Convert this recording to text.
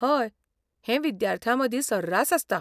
हय, हें विद्यार्थ्यांमदीं सर्रास आसता.